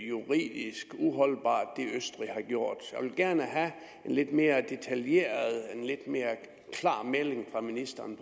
juridisk uholdbart jeg vil gerne have en lidt mere detaljeret og klar melding fra ministeren